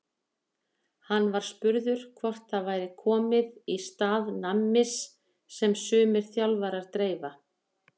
Hann var spurður hvort það væri komið í stað nammis sem sumir þjálfarar dreifa?